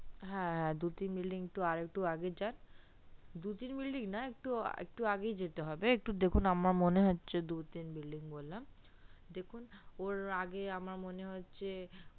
হ্যা হ্যা দু তিন building আরেকটু আগে যান দু তিননা একটু আগেই যেতে হবে দেখুন আমার মনে হচ্ছে দু তিন building বলে দেখুন ওর আগে আমার মনে হচ্ছে